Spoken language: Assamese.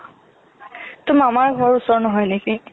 তোৰ মামাৰ ওচৰত নহয় নেকি?